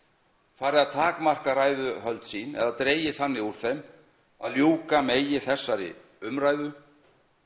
farið að takmarka ræðuhöld sín eða dregið þannig úr þeim að ljúka megi þessari umræðu